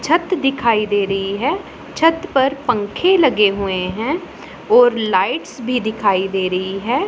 छत दिखाई दे रही है छत पर पंख लगे हुए हैं और लाइट्स भी दिखाई दे रही है।